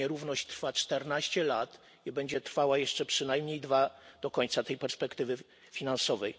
Ta nierówność trwa czternaście lat i będzie trwała jeszcze przynajmniej dwa lata do końca tej perspektywy finansowej.